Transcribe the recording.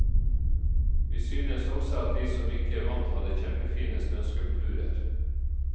Vi synes også at de som ikke vant hadde kjempefine snøskulpturer.